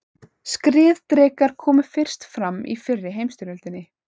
Skriðdrekar komu fyrst fram í fyrri heimsstyrjöldinni.